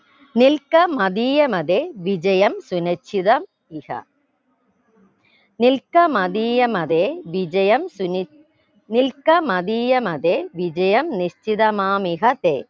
നിൽക്ക മതീയമതെ വിജയം സുനിശ്ചിതം ഇഹ നിൽക്ക മതീയമതെ വിജയം സുനി നിൽക്ക മതീയമതെ വിജയം നിശ്ചിതമാമിഹ തെ